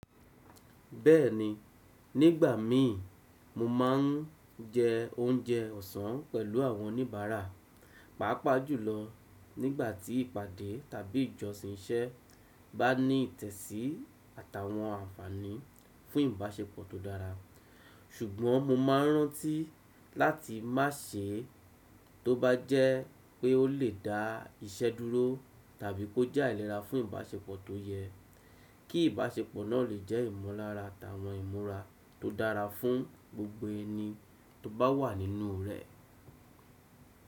Bẹ́ẹ̀ni, nígbà mí, mo máà ń jẹ oúnjẹ ọ̀sán pẹ̀lú àwọn oníbàárà, pàápàá jùlọ nígbàtí ìpàdé tàbí ìjọsìn iṣẹ́ bá ní ìtẹ̀sí àtàwọn ànfàní fún ìbáṣepọ̀ tó dára. Ṣùgbọ́n mo máa rántí láti má se é tó bá jẹ́ pé ó lè dá iṣẹ́ dúró tàbí kó jẹ́ àìlera fún ìbáṣepọ̀ tó yẹ, kí ìbáṣepọ̀ náà lè jẹ́ ìmọ̀lára àtàwọn ìmúra tó dára fún gbogbo ẹni tó bá wà nínú rẹ̀.